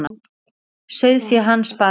Sauðfé hans bar af.